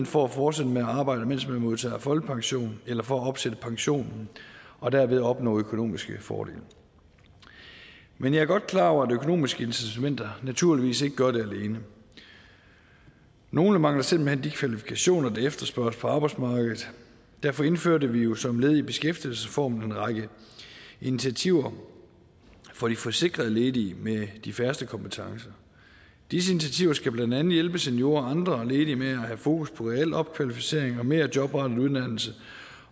for at fortsætte med at arbejde mens man modtager folkepension eller for at opsætte pensionen og derved opnå økonomiske fordele men jeg er godt klar over at de økonomiske incitamenter naturligvis ikke gør det alene nogle mangler simpelt hen de kvalifikationer der efterspørges på arbejdsmarkedet derfor indførte vi som led i beskæftigelsesreformen en række initiativer for de forsikrede ledige med de færreste kompetencer disse initiativer skal blandt andet hjælpe seniorer og andre ledige med at have fokus på reel opkvalificering og mere jobrettet uddannelse